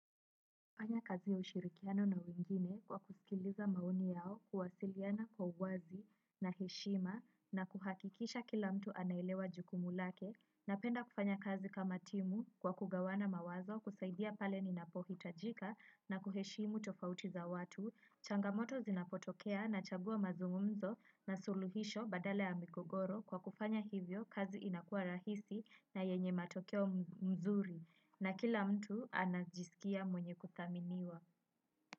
Kufanya kazi ya ushirikiano na wengine kwa kusikiliza maoni yao kuwasiliana kwa uwazi na heshima na kuhakikisha kila mtu anaelewa jukumu lake. Napenda kufanya kazi kama timu kwa kugawana mawazo kusaidia pale ninapohi tajika na kuheshimu tofautiza watu. Changamoto zinapotokea na chagua mazungumzo na suluhisho badala ya migogoro kwa kufanya hivyo kazi inakua rahisi na yenye matokeo nzuri. Na kila mtu anajisikia mwenye kuthaminiwa.